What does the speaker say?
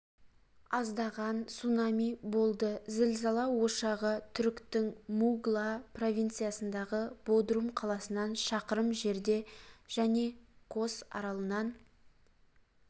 аздаған цунами болды зілзала ошағы түріктің мугла провинциясындағы бодрум қаласынан шақырым жерде және кос аралынан